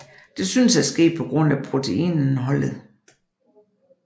Det synes at ske på grund af proteinindholdet